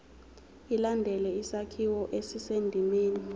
ilandele isakhiwo esisendimeni